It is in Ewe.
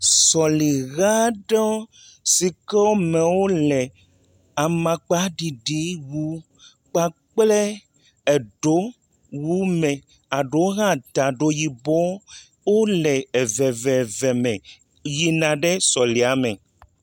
Seliha aɖewo si ke woamewo le amakpaɖiɖiwu kpakple edowu me eɖewo hã ta ɖo eɖewo hã ta edo yibɔ wole eveve yina sɔlia me.